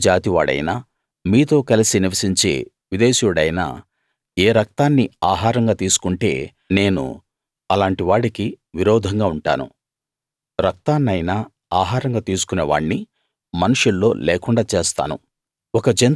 ఇశ్రాయేలు జాతి వాడైనా మీతో కలసి నివసించే విదేశీయుడైనా ఏరక్తాన్ని ఆహారంగా తీసుకుంటే నేను అలాంటి వాడికి విరోధంగా ఉంటాను రక్తాన్నైనా ఆహారంగా తీసుకునే వాణ్ణి మనుషుల్లో లేకుండా చేస్తాను